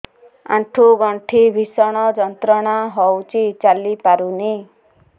ଆଣ୍ଠୁ ଗଣ୍ଠି ଭିଷଣ ଯନ୍ତ୍ରଣା ହଉଛି ଚାଲି ପାରୁନି